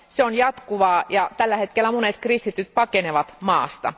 Se on jatkuvaa ja tällä hetkellä monet kristityt pakenevat maasta.